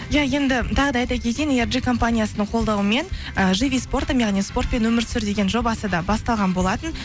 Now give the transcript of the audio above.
иә енді тағы да айта кетейін компаниясының қолдауымен і живи спортом яғни спортпен өмір сүр деген жобасы да басталған болатын